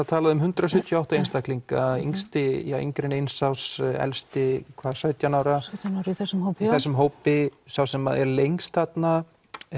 talað um hundrað sjötíu og átta einstaklinga yngsti undir eins árs elsti sautján ára í þessum hópi þessum hópi sá sem er lengst þarna